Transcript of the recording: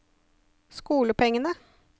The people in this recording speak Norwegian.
skolepengene